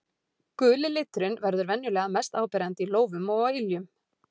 Guli liturinn verður venjulega mest áberandi í lófum og á iljum.